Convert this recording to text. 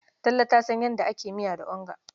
Tall ta san yadda ake miya onga.